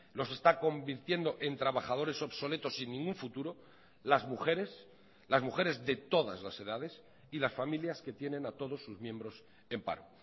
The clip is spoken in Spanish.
los está convirtiendo en trabajadores obsoletos sin ningún futuro las mujeres las mujeres de todas las edades y las familias que tienen a todos sus miembros en paro